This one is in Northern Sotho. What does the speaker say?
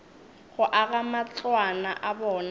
go aga matlwana a bona